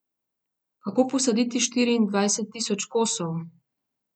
Kako posaditi štiriindvajset tisoč kosov?